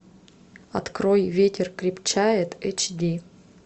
открой ветер крепчает эйч ди